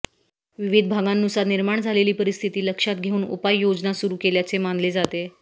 विविध भागांनुसार निर्माण झालेली परिस्थिती लक्षात घेऊन उपाययोजना सुरू केल्याचे मानले जाते